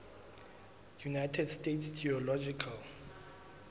united states geological